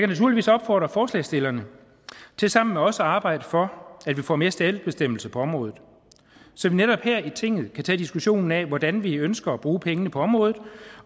naturligvis opfordre forslagsstillerne til sammen med os at arbejde for at vi får mere selvbestemmelse på området så vi netop her i tinget kan tage diskussionen af hvordan vi ønsker at bruge pengene på området